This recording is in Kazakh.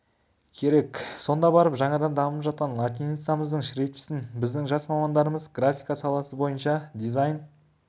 керек сонда барып жаңадан дамып жатқан латиницамыздың шрифтісін біздің жас мамандарымыз графика саласы бойынша дизайн